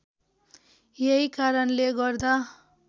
यही कारणले गर्दा